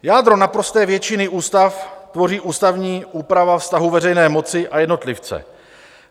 Jádro naprosté většiny ústav tvoří ústavní úprava vztahu veřejné moci a jednotlivce.